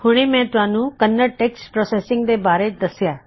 ਹੁਣੇ ਮੈਂ ਤੁਹਾੱਨੂੰ ਕੰਨੜ ਟੈੱਕਸਟ ਪਰੋਸੈੱਸਇੰਗ ਦੇ ਬਾਰੇ ਦੱਸਿਆ